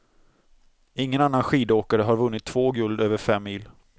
Ingen annan skidåkare har vunnit två guld över fem mil.